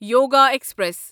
yoga express